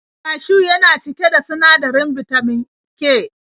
Kashiw yana cike da sinadarin bitamin K.